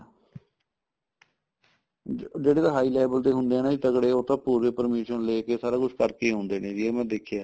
ਜਿਹੜੇ ਜਿਹੜੇ ਤਾਂ high level ਦੇ ਹੁੰਦੇ ਏ ਨਾ ਜੀ ਤਗੜੇ ਉਹ ਤਾਂ ਪੂਰੀ permission ਲੈਕੇ ਸਾਰਾ ਕੁੱਝ ਕਰਕੇ ਈ ਆਉਂਦੇ ਨੇ ਜੀ ਇਹ ਮੈਂ ਦੇਖਿਆ